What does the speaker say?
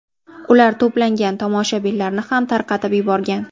Ular to‘plangan tomoshabinlarni ham tarqatib yuborgan.